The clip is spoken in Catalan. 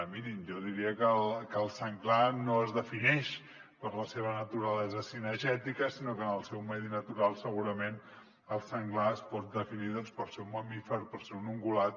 mirin jo diria que el senglar no es defineix per la seva naturalesa cinegètica sinó que en el seu medi natural segurament el senglar es pot definir doncs per ser un mamífer per ser un ungulat